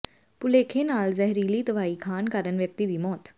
ਭੁਲੇਖੇ ਨਾਲ ਜ਼ਹਿਰੀਲੀ ਦਵਾਈ ਖਾਣ ਕਾਰਨ ਵਿਅਕਤੀ ਦੀ ਮੋਤ